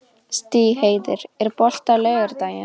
Stígheiður, er bolti á laugardaginn?